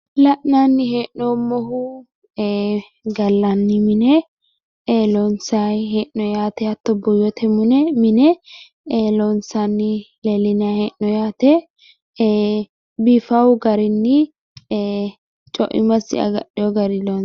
La’nanni hee’noommohu gallanni mine loonsayi hee’noyi yaate hatto buuyyote mine loonsanni leellinanni hee’noyi yaate biifawo garinni, coimmasi agadhewo garinni loonsayi...